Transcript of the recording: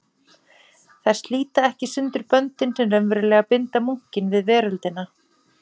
Þær slíta ekki sundur böndin sem raunverulega binda munkinn við veröldina.